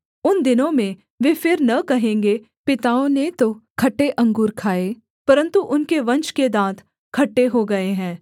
उन दिनों में वे फिर न कहेंगे पिताओं ने तो खट्टे अंगूर खाए परन्तु उनके वंश के दाँत खट्टे हो गए हैं